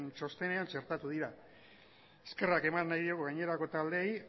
txostenean txertatu dira eskerrak eman nahi diegu gainerako taldeei